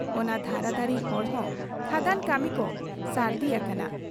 ᱚᱱᱟ ᱫᱷᱟᱨᱟ ᱫᱷᱟᱨᱤ ᱦᱚᱲᱦᱚᱸ ᱠᱷᱟᱫᱟᱱ ᱠᱟᱹᱢᱤ ᱠᱚ ᱥᱟᱹᱨᱫᱤ ᱟᱠᱟᱱᱟ ᱾